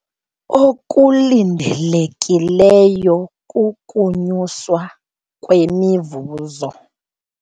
Okulindelekileyo kukunyuswa kwemivuzo.